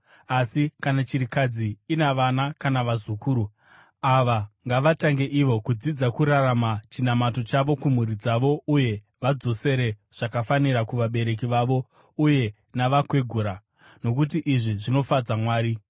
Asi kana chirikadzi ina vana kana vazukuru, ava ngavatange ivo kudzidza kurarama chinamato chavo kumhuri dzavo uye vadzosere zvakafanira kuvabereki vavo uye navakwegura, nokuti izvi zvinofadza Mwari.